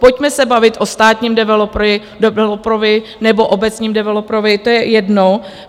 Pojďme se bavit o státním developerovi nebo obecním developerovi, to je jedno.